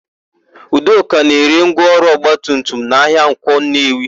Udoka na-ere ngwaọrụ ọgbatumtum na ahịa Nkwọ Nnewi.